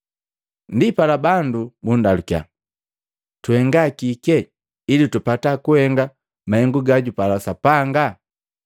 Ndipala bandu bundalukiya, “Tuhenga kike ili tupata kuhenga mahengu gajupala Sapanga?”